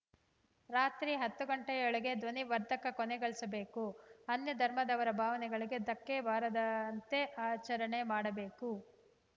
ರಾತ್ರಿ ಹತ್ತು ಗಂಟೆಯೊಳಗೆ ಧ್ವನಿವರ್ಧಕ ಕೊನೆಗಳಿಸಬೇಕು ಅನ್ಯಧರ್ಮದವರ ಭಾವನೆಗಳಿಗೆ ಧಕ್ಕೆ ಬಾರದಂತೆ ಆಚರಣೆ ಮಾಡಬೇಕು